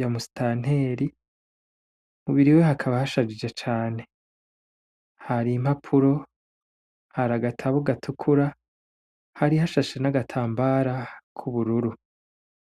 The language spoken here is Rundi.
ya musitanteri, mu biro iwe hakaba hashajije cane, hari impapuro, hari agatabo gatukura, hari hashashe n'agatambara k'ubururu.